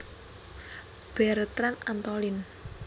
Bertrand Antolin